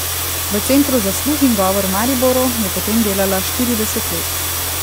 V Centru za sluh in govor v Mariboru je potem delala štirideset let.